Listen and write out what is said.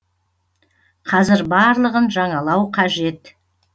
қазір барлығын жаңалау қажет